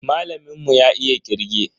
Malamin mu ya iya kirge.